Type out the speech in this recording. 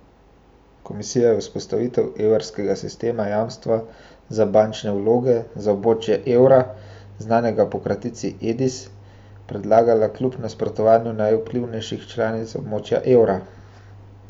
Komisija je vzpostavitev evropskega sistema jamstva za bančne vloge za območje evra, znanega po kratici Edis, predlagala kljub nasprotovanju najvplivnejše članice območja evra.